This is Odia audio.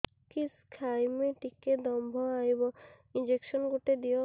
କିସ ଖାଇମି ଟିକେ ଦମ୍ଭ ଆଇବ ଇଞ୍ଜେକସନ ଗୁଟେ ଦେ